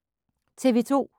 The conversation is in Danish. TV 2